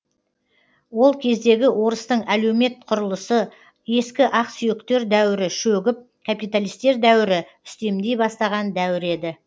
ол кездегі орыстың әлеумет құрылысы ескі ақсүйектер дәуірі шөгіп капиталистер дәуірі үстемдей бастаған дәуір еді